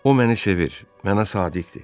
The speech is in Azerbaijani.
O məni sevir, mənə sadiqdir.